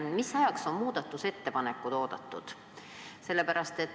Mis ajaks on muudatusettepanekud oodatud?